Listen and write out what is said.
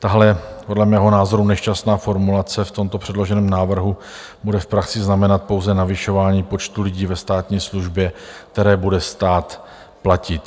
Tahle podle mého názoru nešťastná formulace v tomto předloženém návrhu bude v praxi znamenat pouze navyšování počtu lidí ve státní službě, které bude stát platit.